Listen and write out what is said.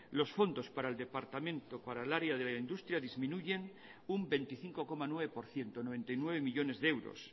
los fondos para el departamento para el área de la industria disminuyen un veinticinco coma nueve por ciento noventa y nueve millónes de euros